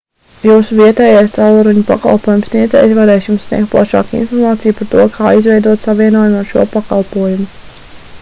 jūsu vietējais tālruņu pakalpojumu sniedzējs varēs jums sniegt plašāku informāciju par to kā izveidot savienojumu ar šo pakalpojumu